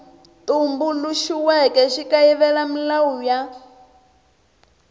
tumbuluxiweke xi kayivela milawu ya